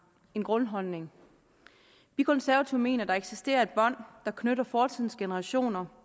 en grundholdning vi konservative mener at der eksisterer et bånd der knytter fortidens generationer